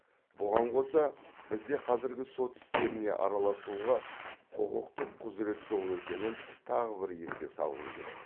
бұған қоса бізде қазіргі сот істеріне араласауға құқықтық құзірет жоқ екенін тағы бір еске салғым келеді